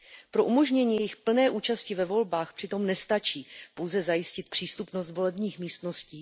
Pro umožnění jejich plné účasti ve volbách přitom nestačí pouze zajistit přístupnost volebních místností.